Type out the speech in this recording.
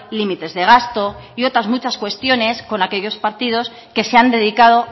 límites de gasto y otras muchas cuestiones con aquellos partidos que se han dedicado